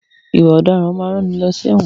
Ìwà ọ̀daràn a máa rán ni lọ sí ẹ̀wọ̀n.